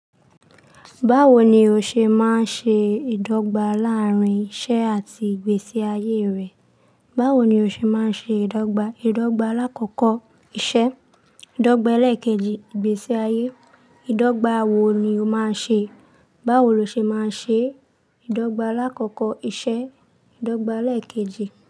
Báwo ni o ṣe máa ń ṣe ìdọ́gba láàárín iṣẹ́ àti ìgbésí ayé rẹ? Báwo ni o ṣe máa ń ṣe ìdọ́gba? Ìdọ́gba alákọ̀ọ́kọ́ iṣẹ́, ìdọ́gba ẹlẹ́ẹ̀kejì ìgbésí-ayé. Ìdọ́gba wo ni o máa ń ṣe? Báwo lo ṣe máa ń ṣe ìdọ́gba aláàkọ́kọ́ iṣẹ́, ìdọ́gba ẹlẹ́ẹ̀kejì?